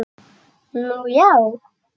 Nú já.